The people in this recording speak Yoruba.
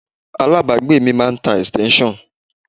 Alábàágbé mi máa ń tá extension.